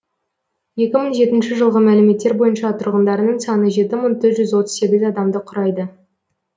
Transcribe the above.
екі мың жетінші жылғы мәліметтер бойынша тұрғындарының саны жеті мың төрт жүз отыз сегіз адамды құрайды